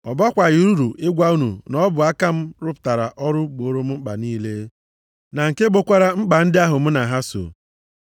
Ọ bakwaghị uru ịgwa unu na ọ bụ aka m rụpụtara ọrụ gbooro m mkpa niile, na nke gbokwara mkpa ndị ahụ mụ na ha so.